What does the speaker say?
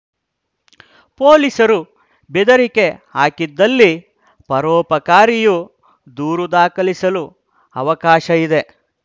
ಪೋಲಿಸರು ಬೆದರಿಕೆ ಹಾಕಿದಲ್ಲಿ ಪರೋಪಕಾರಿಯು ದೂರು ದಾಖಲಿಸಲು ಅವಕಾಶ ಇದೆ